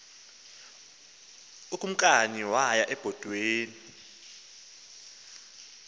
ukumkani waya ebhotweni